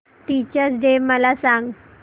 teachers day मला सांग